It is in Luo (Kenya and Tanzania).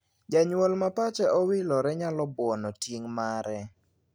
Janyuol ma pache owilore nyalo buono ting' mare.